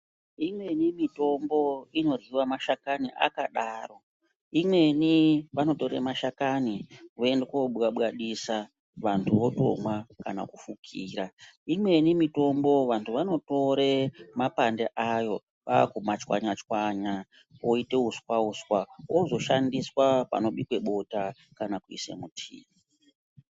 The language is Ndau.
Imweni mitombo inoryiwa mashakani akadaro. Imweni vanotore mashakani voende kobwabwadisa vantu votomwa kana kufukira. Imweni mitombo vantu vanotore mapande ayo kwaku machwanya chwanya oite uswa-uswa ozoshandiswa panobikwe bota kana kuisa mutii.